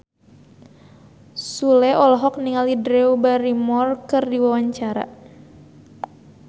Sule olohok ningali Drew Barrymore keur diwawancara